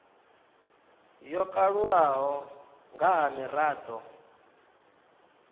yo kalulaho nga ha mirado